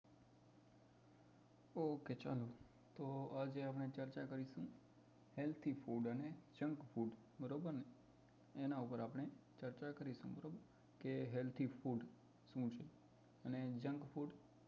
okay ચાલો તો આજે આપણે ચર્ચા કરીશું healthy food અને junk food બરોબર ને એના ઉપ્પર આપડે ચર્ચા કરીશું બરોબર કે healthy food શું છે અને junk food